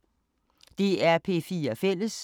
DR P4 Fælles